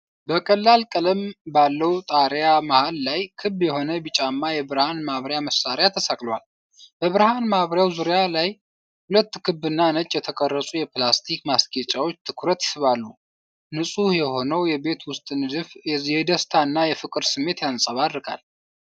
በቀላል ቀለም ባለው ጣሪያ መሃል ላይ፣ ክብ የሆነ ቢጫማ የብርሃን ማብሪያ መሳሪያ ተሰቅሏል። በብርሃን ማብሪያው ዙሪያ ሁለት ክብና ነጭ የተቀረጹ የፕላስተር ማስጌጫዎች ትኩረት ይስባሉ። ንጹህ የሆነው የቤት ውስጥ ንድፍ የደስታና የፍቅር ስሜት ያንጸባርቃል።